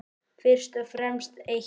Fyrst og fremst eitt.